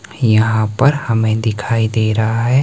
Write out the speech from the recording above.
यहां पर हमें दिखाई दे रहा है।